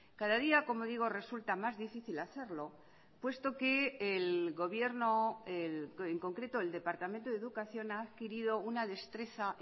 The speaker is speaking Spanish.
cada día como digo resulta más difícil hacerlo puesto que el gobierno en concreto el departamento de educación ha adquirido una destreza